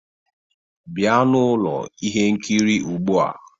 Bịa n'ụlọ ihe nkiri ugbua!